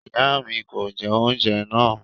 Iya mi kò jẹ oúnjẹ naa